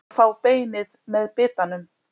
Að fá beinið með bitanum